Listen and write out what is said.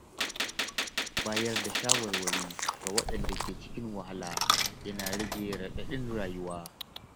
Bayar da shawarwari ga waɗanda ke cikin wahala yana rage raɗaɗin rayuwa.